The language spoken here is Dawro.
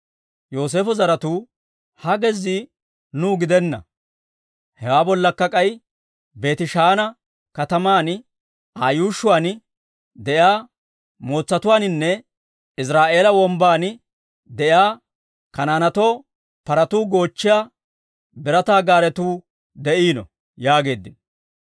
Yooseefo zaratuu, «Ha gezzii nuu gidenna; hewaa bollakka k'ay Beetishaana kataman, Aa yuushshuwaan de'iyaa mootsatuwaaninne Iziraa'eela Wombban de'iyaa Kanaanetoo paratuu goochchiyaa birataa gaaretuu de'iino» yaageeddino.